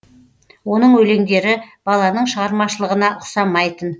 оның өлеңдері баланың шығармашылығына ұқсамайтын